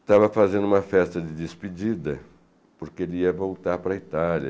Estava fazendo uma festa de despedida, porque ele ia voltar para a Itália.